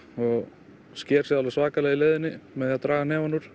og sker sig alveg svakalega í leiðinni með því að draga hnefann úr